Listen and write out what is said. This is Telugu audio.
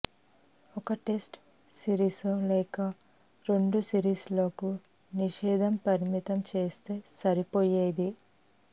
ఒక టెస్ట్ సిరీసో లేక రెండు సిరీస్ లకు నిషేధం పరిమితం చేస్తే సరిపోయేది